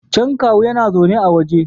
Can kawu yana zaune a waje